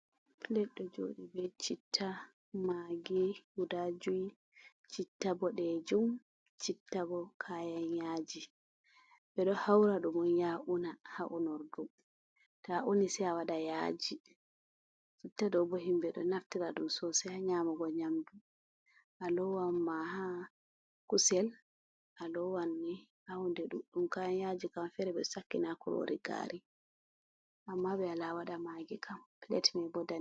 Pled ɗo joɗi be citta, magi, guda jui, citta ɓodejum, citta bo kayan yaji, ɓe ɗo haura ɗum on ya’una ha unordu to a uni sai a waɗa yaji, citta ɗo bo himɓɓe ɗo naftira ɗum sosai ha nyamugo nyamdu, a lowan ma ha kusel a lowanni ha hunde ɗuɗɗum, kayan yaji kam fere ɓe sakkina kurori gari, amma ɓe wala waɗa magi kam plat mebo danejum.